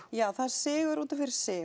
já það er sigur útaf fyrir sig